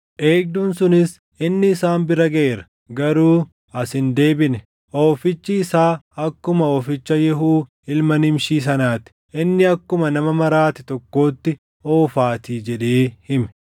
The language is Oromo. Eegduun sunis, “Inni isaan bira gaʼeera; garuu as hin deebine. Oofichi isaa akkuma ooficha Yehuu ilma Nimshii sanaa ti; inni akkuma nama maraate tokkootti oofaatii” jedhee hime.